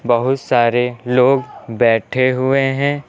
बहुत सारे लोग बैठे हुए हैं।